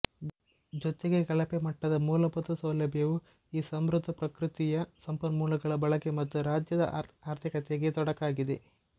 ಜೊತೆಗೆ ಕಳಪೆ ಮಟ್ಟದ ಮೂಲಭೂತ ಸೌಲಭ್ಯವು ಈ ಸಮೃದ್ಧ ಪೃಕೃತಿಯ ಸಂಪನ್ಮೂಲಗಳ ಬಳಕೆ ಮತ್ತು ರಾಜ್ಯದ ಆರ್ಥಿಕತೆಗೆ ತೊಡಕಾಗಿದೆ